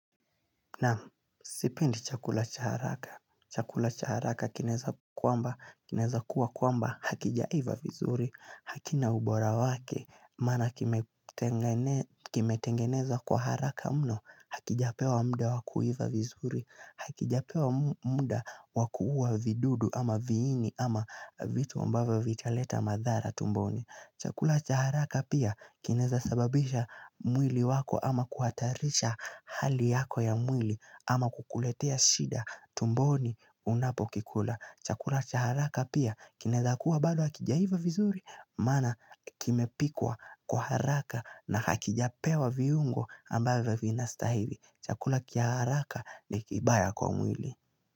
Na sipendi chakula cha haraka. Chakula cha haraka kinaeza kuwa kwamba hakijaiva vizuri. Hakina ubora wake maana kimetengenezwa kwa haraka mno hakijapewa muda wakuiva vizuri. Hakijapewa muda wakuuwa vidudu ama viini ama vitu ambavyo vitaleta madhara tumboni. Chakula cha haraka pia kinaeza sababisha mwili wako ama kuhatarisha hali yako ya mwili ama kukuletea shida tumboni unapokikula. Chakula cha haraka pia kinaeza kuwa bado hakijaiva vizuri maana kimepikwa kwa haraka na hakijapewa viungo ambayo vinastahili. Chakula cha haraka ni kibaya kwa mwili.